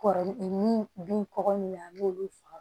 Kɔrɔ min bin kɔkɔ min na an b'olu faga